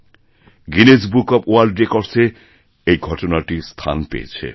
Guinness book of world রেকর্ডসএ এই ঘটনাটি স্থান পেয়েছে